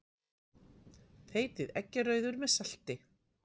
Þeytið eggjarauður með salti.